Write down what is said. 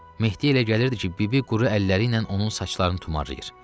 Mehdi elə gəlirdi ki, bibi quru əlləri ilə onun saçlarını tumarlayır.